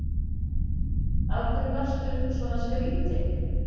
Af hverju varstu svona skrýtin?